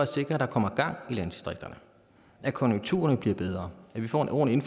sikre at der kommer gang i landdistrikterne at konjunkturerne bliver bedre at vi får en ordentlig